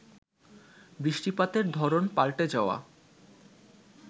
বৃষ্টিপাতের ধরন পাল্টে যাওয়া